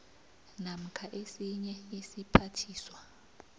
namkha esinye isiphathiswa